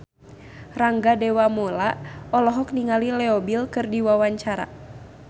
Rangga Dewamoela olohok ningali Leo Bill keur diwawancara